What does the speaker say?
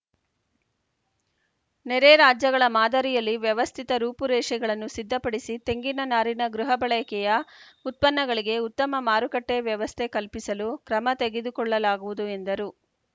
ನೆರೆ ರಾಜ್ಯಗಳ ಮಾದರಿಯಲ್ಲಿ ವ್ಯವಸ್ಥಿತ ರೂಪುರೇಷೆಗಳನ್ನು ಸಿದ್ಧಪಡಿಸಿ ತೆಂಗಿನ ನಾರಿನ ಗೃಹ ಬಳಕೆಯ ಉತ್ಪನ್ನಗಳಿಗೆ ಉತ್ತಮ ಮಾರುಕಟ್ಟೆವ್ಯವಸ್ಥೆ ಕಲ್ಪಿಸಲು ಕ್ರಮ ತೆಗೆದುಕೊಳ್ಳಲಾಗುವುದು ಎಂದರು